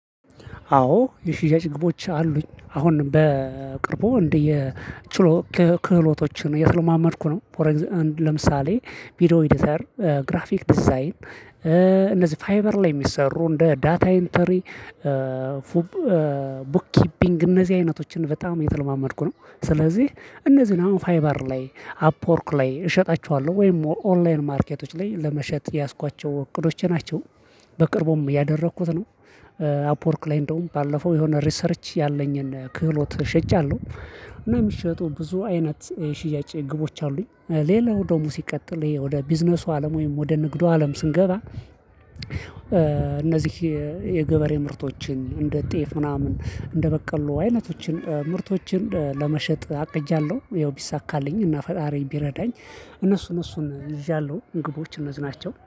አዎ የሽያጭ ግቦች አሉኝ አሁን በቅርቦ እንደ የችሎ ክህሎቶችን የስለማመድኩ ነው። ለምሳሌ ቪዲዮ ኤዲተር ግራፊክ ዲዛይን። እነዚህ ፋይበር ላይ የሚሰሩ እንደ ዳታ ኢንተሪ ቡክ ኪፒንግ እነዚህ አይነቶችን በጣም የተለማመድኩ ነው። ስለዚህ እነዚህ ነው ፋይባር ላይ አፕወርክ ላይ እሸጣችኋለሁ ወይም ኦንላይን ማርኬቶች ላይ ለመሸጥ የያዝኳቸው እቅዶች ናቸው በቅርቡም ያደረኩት ነው። አፕወርክ ላይ እንደውም ባለፈው የሆነ ሪሰርች ያለኝን ክህሎት ሸጫለሁ። እና የሚሸጡ ብዙ አይነት ሽያጭ ግቦች አሉኝ ሌላው ደግሞ ሲቀጥል ይሄ ወደ ቢዝነሱ አለም ወይም ወደ ንግዱ አለም ስንገባ። እነዚህ የገበሬ ምርቶችን እንደ ጤፍ ምናምን እንደበቀሉ አይነቶችን ምርቶችን ለመሸጥ አቅጃለሁ ያው ቢሳካልኝ እና ፈጣሪን ቢረዳኝ እነሱን እነሱን የዣለሁ ግቦች እነዚህ ናቸው